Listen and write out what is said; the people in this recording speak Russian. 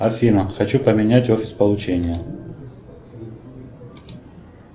афина хочу поменять офис получения